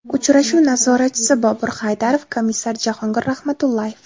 Uchrashuv nazoratchisi Bobur Haydarov, komissar Jahongir Rahmatullayev.